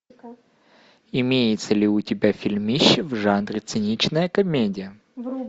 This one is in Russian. имеется ли у тебя фильмище в жанре циничная комедия